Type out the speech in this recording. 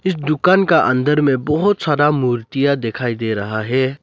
इस दुकान का अंदर में बहोत सारा मूर्तियां दिखाई दे रहा है।